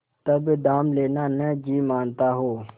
तब दाम लेना न जी मानता हो